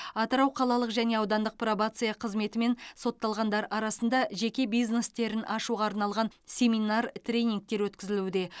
атырау қалалық және аудандық пробация қызметімен сотталғандар арасында жеке бизнестерін ашуға арналған семинар тренингтер өткізілуде